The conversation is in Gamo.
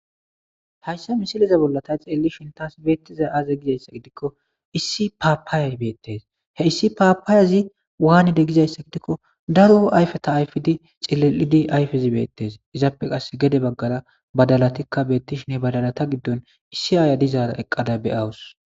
hayssa misiliza bolla ta xeelli shintas beettiza aza gizayssa gidikko issi paapaaya beettes he issi paapaayazi waanide gizayssa gidikko daro ayfeta ayfidi cilelidi ayfezi beettes izaappe qas gede baggara badalatikka beettishinhe badalata giddon issi aaya dizaara eqqada beyawus